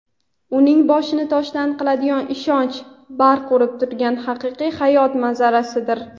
uning boshini "toshdan" qiladigan ishonch barq urib turgan haqiqiy hayot manzarasidir".